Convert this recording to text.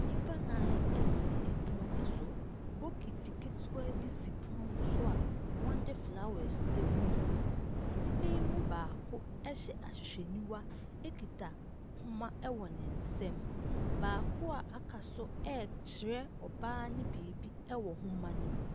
Nnipa nnan te pono so, bokiti ketewa bi si pono ne so a wɔde flowers agu mu. Nnipa yi mu baako hyɛ ahwehwɛniwa kita poma wɔ ne nsa mu, na baako a aka nso ɛrekyerɛ ɔbaa no biribi wɔ nwoma ne mu.